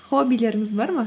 хоббилеріңіз бар ма